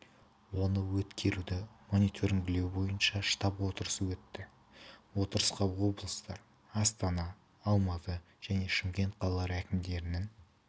оны өткеруді мониторингілеу бойынша штаб отырысы өтті отырысқа облыстар астана алматы және шымкент қалалары әкімдерінің